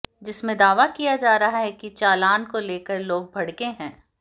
जिसमें दावा किया जा रहा है कि चालान को लेकर लोग भड़के हैं